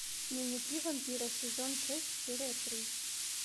дневники вампира сезон шесть серия три